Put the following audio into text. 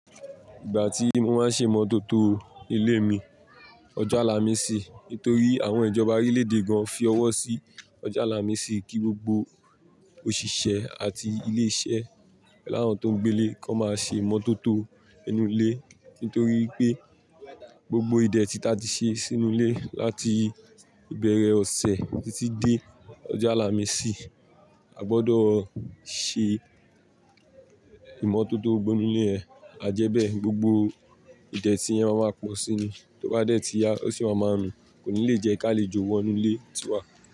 Ìgbà tí mo máa ń ṣe ìmọ́tótó ilé mi, ọjọ́ Àlàmísì nítorí àwọn ìjọba orílẹ̀ èdè gan fí ọwọ́ sí ọjọ́ Àlàmísì kí gbogbo òṣìṣẹ́ àti ilé iṣẹ́ lá wọn tó ń gbé nílé kan máa ṣe ìmọ́tótó inú ilé. Nítorí pé gbogbo ìdètí ta ti ṣe sínú ilé láti ìbẹ̀rẹ̀ ọ̀sẹ̀ títí dé ọjọ́ Àlàmísì, a gbọdọ̀ ṣe ìmọ́tótó gbogbo inú ilé yẹn. A jẹ́ bẹ́ẹ̀, gbogbo ìdètí yẹn máa ma po síní, tó bá dé tíya ó sì máa ma rùn. Kò ní le jẹ́ kí a lè jó wọ inú ilé tí wa.